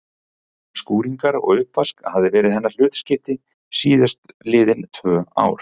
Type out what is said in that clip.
Skúringar og uppvask hafði verið hennar hlutskipti síðast liðin tvö ár.